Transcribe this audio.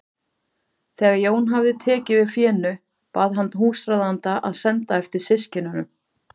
Þegar Jón hafði tekið við fénu bað hann húsráðanda að senda eftir systkinunum.